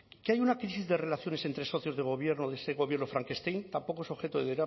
que haya una crisis de relaciones entre socios de gobierno de este gobierno frankenstein tampoco es objeto de